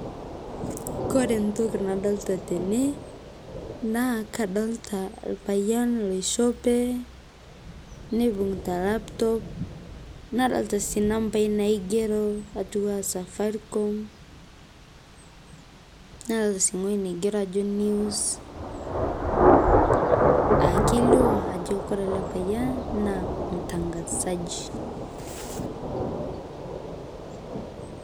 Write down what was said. Kore ntoki nadolita tenee naa kadolita lpayan eishopee neibungita laptop nadolita sii nampai naigeroo atuwaa safaricom nadolita sii ngoji neigero ajoo news aa keilio ajo kore alee payan naa mtangazaji.